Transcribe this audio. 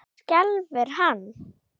Það skelfir hann.